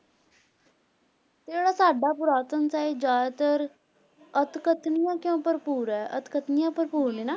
ਤੇ ਜਿਹੜਾ ਸਾਡਾ ਪੁਰਾਤਨ ਸਾਹਿਤ ਜ਼ਿਆਦਾਤਰ ਅਤਕਥਨੀਆਂ ਕਿਉਂ ਭਰਪੂਰ ਹੈ, ਅਤਕਥਨੀਆਂ ਭਰਪੂਰ ਨੇ ਨਾ।